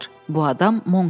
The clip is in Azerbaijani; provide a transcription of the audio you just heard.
Bu adam Monks idi.